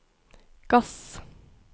gass